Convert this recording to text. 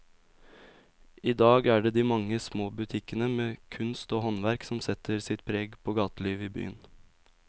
I dag er det de mange små butikkene med kunst og håndverk som setter sitt preg på gatelivet i byen.